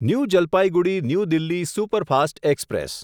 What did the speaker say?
new Jalpaiguri new Delhi superfast express